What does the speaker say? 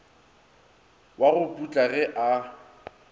wa go putla ge a